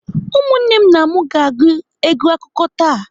Ụmụnne na m ga-agụ egwu akụkọ taa.